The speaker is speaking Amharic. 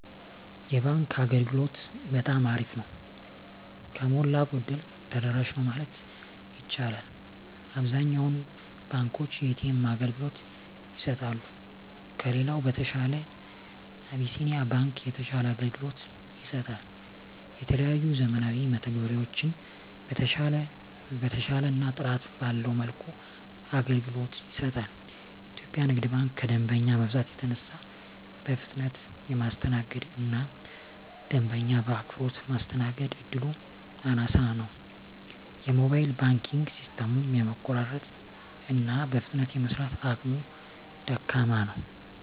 የባንክ አገልግሎት በጠማ አሪፍ ነው። ከሞላ ጎደል ተደራሽ ነው ማለት ይቻላል። አብዛኛውን ባንኮች የኤ.ተ.ኤም አገልግሎት ይሰጣሉ። ከሌላው በተሻለ አብሲኒያ ባንክ የተሻለ አገልግሎት ይሰጣል። የተለያዩ ዘመናዊ መተግበሪያዎችን በተሻለና ጥራት ባለው መልኩ አገልግሎት ይሰጣል። ኢትዮጵያ ንግድ ባንክ ከደንበኛ መብዛት የተነሳ በፍጥነት የማስተናገድ እና ደንበኛ በአክብሮት ማስተናገድ እድሉ አናሳ ነው። የሞባይል ባንኪንግ ሲስተሙም የመቆራረጥ እና በፍጥነት የመስራት አቅሙ ደካማ ነው።